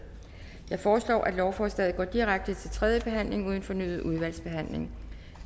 jeg foreslår at lovforslaget går direkte til tredje behandling uden fornyet udvalgsbehandling